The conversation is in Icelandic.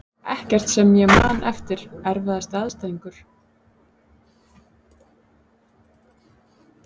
Ekkert sem ég man eftir Erfiðasti andstæðingur?